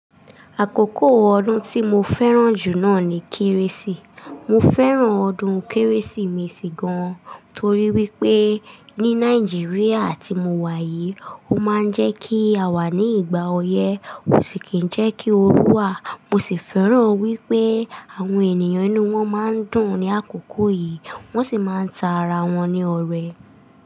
Àkókò ọdún tí mo fẹ́ràn jù náà ni Kérésì. Mo fẹ́ràn ọdún Kérésìmesì gan, torí wípé ní Nàìjíríà tí mo wà yìí, ó máa ń jẹ́ kí a wà ní ìgbà ọyẹ́ ó sì kí ń jẹ́ kí o rú wa. Mo sì fẹ́ràn wípé àwọn ènìyàn inú wọn máa ń dùn ní àkókò yìí, wọ́n sì máa ń ta ara wọn ní ọrẹ.